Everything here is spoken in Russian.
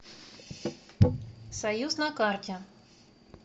союз на карте